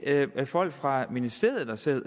folk fra ministeriet der sidder